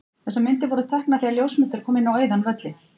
Þessar myndir voru teknar þegar ljósmyndari kom á auðan völlinn.